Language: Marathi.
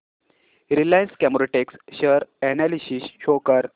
Reliance Chemotex share analysis show कर